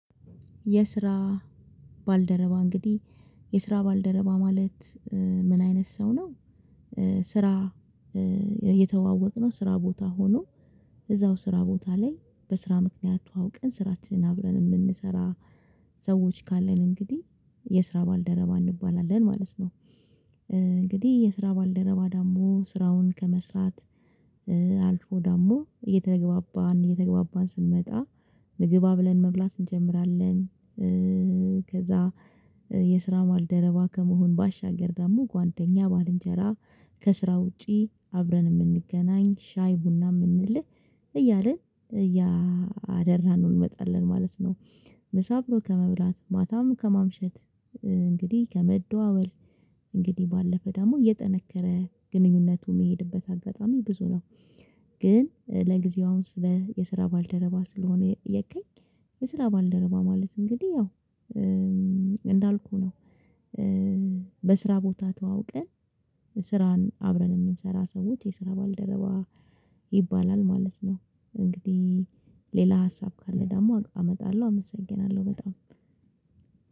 የስራ ባልደረባ እንግዲህ የስራ ባልደረባ ማለት ምን አይነት ሰው ነው? ስራ እየተዋወቅነው ስራ ቦታ ሆኖ እዛው ስራ ቦታ ላይ በስራ ምክንያት ተዋውቀን ስራችንን አብረን የምንሰራ ሰዎች ካለን እንግዲህ የስራ ባልደረባ እንባላለን ማለት ነው። እንግዲህ የስራ ባልደረባ ደግሞ ስራውን ከመስራት አልፎ ደግሞ እየተገባባን እየተገባባን ስንመጣ ምግባብ አብረን መብላት እንጀምራለን። ከዛ የስራ ማልደረባ ከመሆን ባሻገር ደግሞ ጓደኛ ባልንጀራ ከስራ ውጪ አብረን የምንገናኝ ሻይ ቡና የምንልህ እያልን እያደራነው ነው እንመጣለን ማለት ነው። ምሳ አብሮ ከመብላት ማታም ከማምሸት እንግዲህ ከመደዋወል እንግዲህ ባለፈ ደግሞ የጠነከረ ግንኙነቱ የሚሄድበት አጋጣሚ ብዙ ነው። ግን ለጊዜው አሁን ስለ የስራ ባልደረባ ስለሆነ የጠየከኝ የስራ ባልደረባ ማለት እንግዲህ ያው እንዳልኩህ ነው። በስራ ቦታ ተዋውቀን ስራን አብረን የምንሰራ ሰዎች የስራ ባልደረባ ይባላል ማለት ነው። እንግዲህ ሌላ ሀሳብ ካለ ደግሞ አመጣለሁ አመሰግናለሁ በጣም